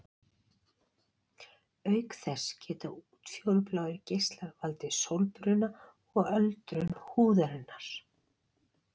Auk þess geta útfjólubláir geislar valdið sólbruna og öldrun húðarinnar.